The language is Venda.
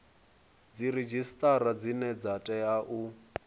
dziredzhisitara dzine dza tea u